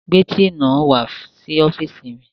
Gbé tíì náà wá sí ọ́fìsì mi